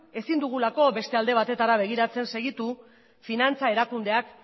ezin dugulako beste alde batetara begiratzen segitu finantza erakundeak